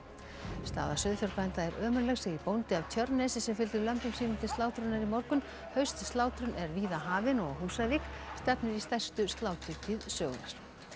staða sauðfjárbænda er ömurleg segir bóndi af Tjörnesi sem fylgdi lömbum sínum til slátrunar í morgun haustslátrun er víða hafin og á Húsavík stefnir í stærstu sláturtíð sögunnar